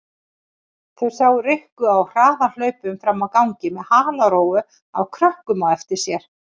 Þær sáu Rikku á harðahlaupum frammi á gangi með halarófu af krökkum á eftir sér.